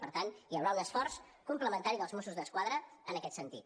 per tant hi haurà un esforç complementari dels mossos d’esquadra en aquest sentit